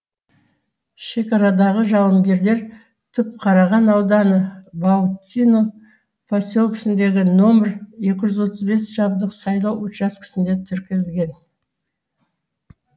шекарадағы жауынгерлер түпқараған ауданы баутино поселкесіндегі нөмірі екі жүз отыз бес жабық сайлау учаскесінде тіркелген